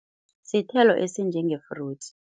Sithelo esinjenge-fruits.